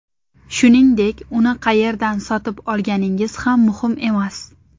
Shuningdek, uni qayerdan sotib olganingiz ham muhim emas.